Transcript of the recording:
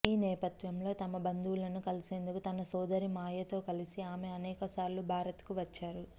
ఈ నేపథ్యంలో తమ బంధువులను కలిసేందుకు తన సోదరి మాయతో కలిసి ఆమె అనేకసార్లు భారత్కు వచ్చారు